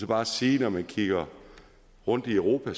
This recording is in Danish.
bare sige at når man kigger rundt i europa